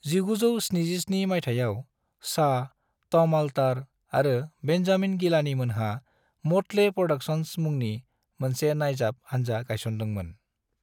1977 माइथायाव, Shah, Tom Alter आरो Benjamin Gilani मोनहा मोटले प्रोडक्शंस मुंनि मोनसे नायजाब हानजा गायसनदोंमोन।